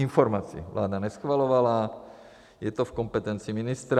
Informaci vláda neschvalovala, je to v kompetenci ministra.